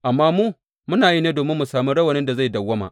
Amma mu muna yi ne domin mu sami rawanin da zai dawwama.